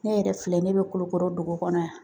Ne yɛrɛ filɛ ne bɛ Kulukoro dugu kɔnɔ yan